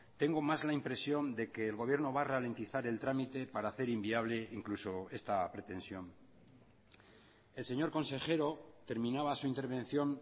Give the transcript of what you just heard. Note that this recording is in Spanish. tengo más la impresión de que el gobierno va a ralentizar el trámite para hacer inviable incluso esta pretensión el señor consejero terminaba su intervención